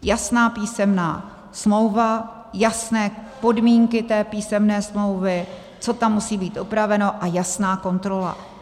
Jasná písemná smlouva, jasné podmínky té písemné smlouvy, co tam musí být upraveno, a jasná kontrola.